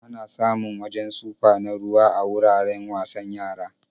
Ana samun wajen sufa na ruwa a wuraren wasan yara.